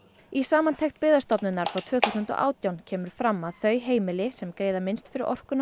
í samantekt Byggðastofnunar frá tvö þúsund og átján kemur fram að þau heimili sem greiða minnst fyrir orkuna á